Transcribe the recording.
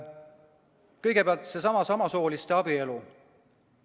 Kõigepealt, seesama samasooliste abielu.